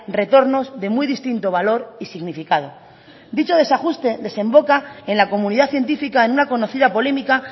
retornos de muy distinto valor y significado dicho desajuste desemboca en la comunidad científica en una conocida polémica